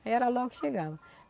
Era logo chegava.